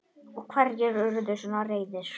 Og hverjir urðu svona reiðir?